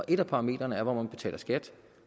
et af parametrene er hvor man betaler skat